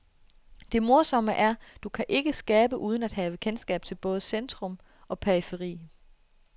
Det morsomme er, du kan ikke skabe uden at have kendskab til både centrum og periferi.